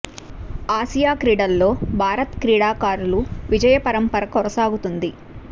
Asia క్రీడల్లో భారత క్రీడాకారులు విజయ పరం పర కొనసాగుతోంది